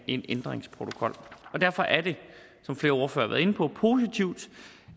en ændringsprotokol derfor er det som flere ordførere inde på positivt